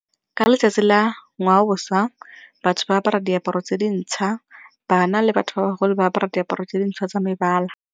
Ka letsatsi la ngwaoboswa, batho ba apara diaparo tse dintšha bana le batho ba bagolo ba apara diaparo tse dintšha tsa mebala.